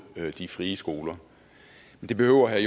de frie skoler det behøver herre